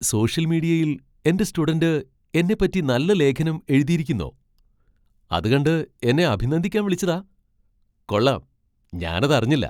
Social മീഡിയയിൽ എന്റെ student എന്നെപ്പറ്റി നല്ല ലേഖനം എഴുതീരിക്കുന്നോ? അതു കണ്ട് എന്നെ അഭിനന്ദിക്കാൻ വിളിച്ചതാ? കൊള്ളാം, ഞാനത് അറിഞ്ഞില്ല.